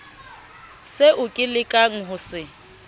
seo ke lekang ho se